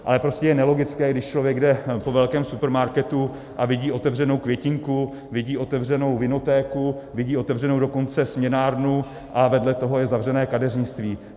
Ale prostě je nelogické, když člověk jde po velkém supermarketu a vidí otevřenou květinku, vidí otevřenou vinotéku, vidí otevřenou dokonce směnárnu - a vedle toho je zavřené kadeřnictví.